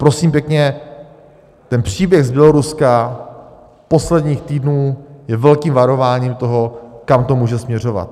Prosím pěkně, ten příběh z Běloruska posledních týdnů je velkým varováním toho, kam to může směřovat.